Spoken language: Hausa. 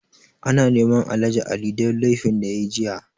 Ana neman Alhaji Ali don laifin da ya yi jiya.